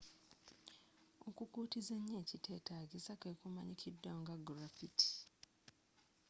okukuutiza ennyo ekitetaagisa kwe kumanyikiddwa nga graffiti